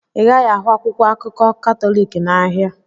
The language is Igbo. Ị gaghị ahụ akwụkwọ akụkọ Katọlik n'ahịa.